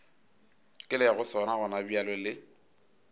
ke lego sona gonabjale le